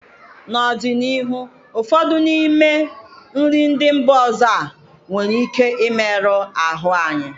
N'ọdịnihu ụfọdụ n'ime nri ndị mba ọzọ a nwere ike imerụ ahụ anyị